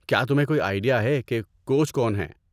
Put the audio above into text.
کیا تمہیں کوئی آئیڈیا ہے کہ کوچ کون ہیں؟